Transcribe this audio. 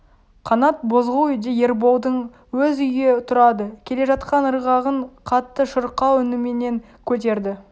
қанат бозғыл үйде ерболдың өз үйі тұрады келе жатқан ырғағын қатты шырқау үніменен көтерді